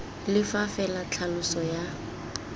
le fa fela tlhaloso ya